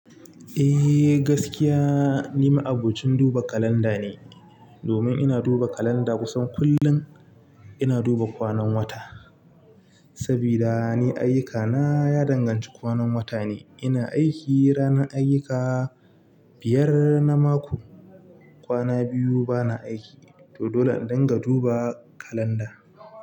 Eh gaskiya ni ma'abocin duba kalanda ne, domin ina duba kalanda kusan kullum ina duba kwanan wata. Sabida ni ayyukana ya danganci kwanan wata ne, ina aiki ranar ayyuka biyar na mako, kwana biyu bana aiki. To dole ne indinga duba kalanda.